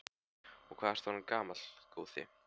Og hvað ertu orðinn gamall, góði?